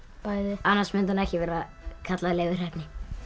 annars mundi hann ekki vera kallaður Leifur heppni